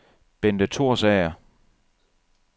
Benthe Thorsager